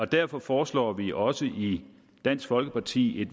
derfor foreslår vi også i dansk folkeparti